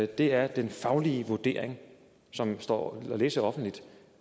det er den faglige vurdering som står at læse offentligt